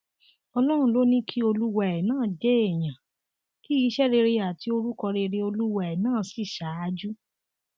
ọlọrun ló ní kí olúwa ẹ náà jẹ èèyàn kí iṣẹ rere àti orúkọ rere olúwa ẹ náà sì ṣáájú